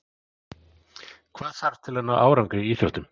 Hvað þarf til að ná árangri í íþróttum?